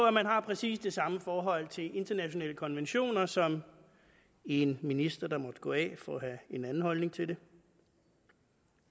at man har præcis det samme forhold til internationale konventioner som en minister der måtte gå af for at have en anden holdning til det